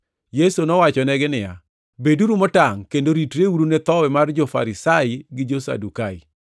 Yesu nowachonegi niya, “Beduru motangʼ kendo ritreuru ne thowi mar jo-Farisai gi jo-Sadukai.”